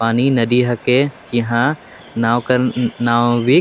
पानी नदी हिके इहा नाव कर नाविक --